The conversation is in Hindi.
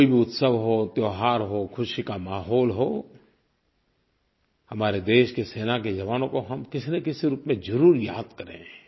कोई भी उत्सव हो त्योहार हो खुशी का माहौल हो हमारे देश के सेना के जवानों को हम किसीन किसी रूप में ज़रूर याद करें